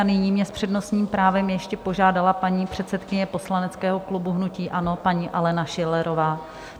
A nyní mě s přednostním právem ještě požádala paní předsedkyně poslaneckého klubu hnutí ANO, paní Alena Schillerová.